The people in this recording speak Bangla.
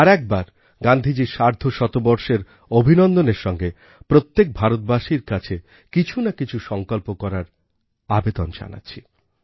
আরএকবার গান্ধীজীর সার্ধশতবর্ষের অভিনন্দনের সঙ্গে প্রত্যেক ভারতবাসীর কাছে কিছু না কিছু সংকল্প করার আবেদন জানাচ্ছি